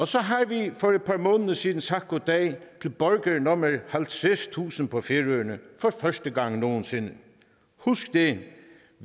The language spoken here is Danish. så har vi for et par måneder siden sagt goddag til borger nummer halvtredstusind på færøerne for første gang nogen sinde husk det